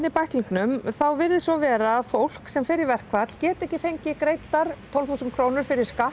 í bæklingnum þá virðist svo vera að fólk sem fer í verkfall geti ekki fengið greiddar tólf þúsund krónur fyrir skatt